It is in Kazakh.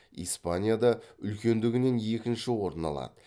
испанияда үлкендігінен екінші орын алады